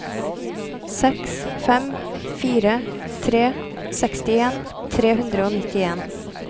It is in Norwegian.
seks fem fire tre sekstien tre hundre og nittien